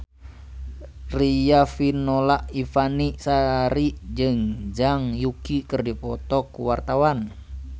Riafinola Ifani Sari jeung Zhang Yuqi keur dipoto ku wartawan